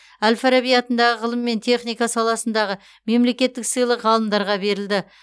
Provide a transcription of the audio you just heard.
әл фараби атындағы ғылым мен техника саласындағы мемлекеттік сыйлық ғалымдарға берілді